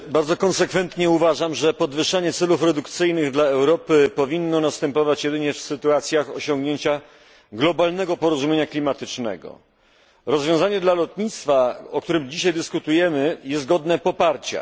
Bardzo konsekwentnie uważam, że podwyższenie celów redukcyjnych dla Europy powinno następować jedynie w sytuacjach osiągnięcia globalnego porozumienia klimatycznego. Rozwiązanie dla lotnictwa, o którym dzisiaj dyskutujemy, jest godne poparcia.